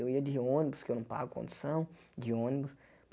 Eu ia de ônibus, que eu não pago condução, de ônibus.